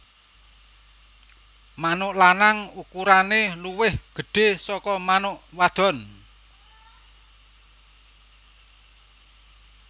Manuk lanang ukurane luwih gedhé saka manuk wadon